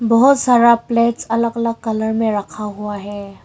बहोत सारा प्लेट्स अलग अलग कलर में रक्खा हुआ है।